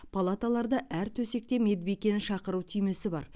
палаталарда әр төсекте медбикені шақыру түймесі бар